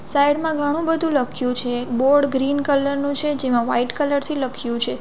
Side માં ઘણું બધું લખ્યું છે બોર્ડ ગ્રીન કલર નું છે જેમાં વાઈટ કલર થી લખ્યું છે.